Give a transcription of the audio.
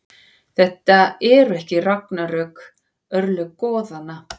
Þetta eru ragnarök, örlög goðanna.